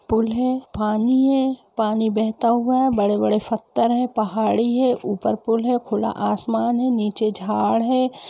पुल है पानी है पानी बेहता हुआ है बड़े-बड़े फत्थर है पहाड़ी है ऊपर पूल है खुला आसमान है नीचे झाड़ है।